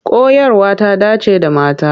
Koyarwa ta dance da mata.